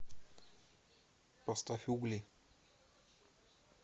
поставь угли